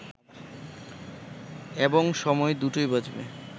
এবং সময় দুটোই বাঁচবে